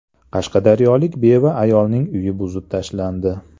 Qashqadaryolik beva ayolning uyi buzib tashlandi.